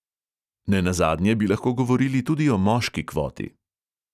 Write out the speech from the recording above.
Nenazadnje bi lahko govorili tudi o moški kvoti.